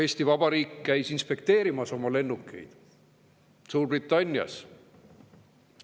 Eesti Vabariik käis Suurbritannias oma lennukeid inspekteerimas.